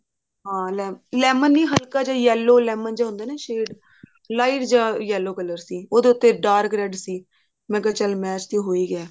ਹਾਂ lemon ਨੀ ਹਲਕਾ ਜਾ yellow lemon ਜਾ ਹੁੰਦਾ ਨਾ shade light ਜਾ yellow color ਸੀ ਉਹਦੇ ਉੱਤੇ dark red ਸੀ ਮੈਂ ਕਿਹਾ ਚੱਲ match ਤਾਂ ਹੋ ਹੀ ਗਿਆ